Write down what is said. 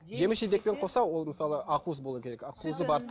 жеміс жидекпен қоса ол мысалы ақуыз болуы керек ақ уызы